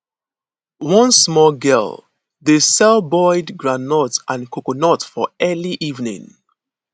one small girl dey sell boiled groundnut and coconut for early evening